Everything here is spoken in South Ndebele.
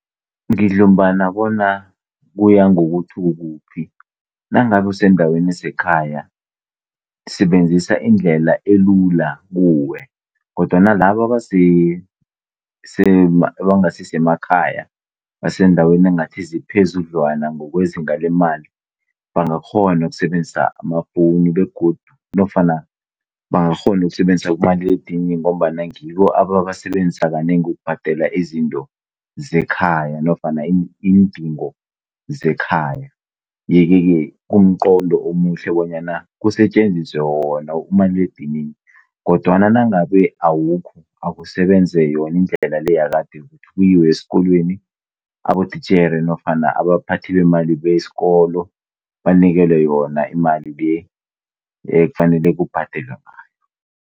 Ngidlumbana bona kuya ngokuthi ukuphi. Nangabe usendaweni esekhaya, sebenzisa indlela elula kuwe. Kodwana bala abangasi semakhaya, baseendaweni engathi ziphezudlwana ngokwezinga lemali bangakghona ukusebenzisa amafoni begodu bangakghona ukusebenzisa umaliledinini ngombana ngibo ababasebenzisa kanengi ukubhadala izinto zekhaya nofana iindingo zekhaya. Yekeke kumqondo omuhle bonyana kusetjenziswe wona umaliledinini. Kodwana nangabe awukho, kusebenze yona indlela yakade, kuyiwe esikolweni. Abotitjhere nofana abaphathi bemali besikolo banikelwe yona imali le .